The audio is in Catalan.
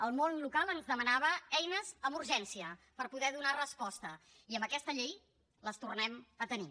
el món local ens demanava eines amb urgència per poder donar resposta i amb aquesta llei les tornem a tenir